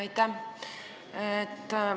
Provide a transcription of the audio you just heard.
Aitäh!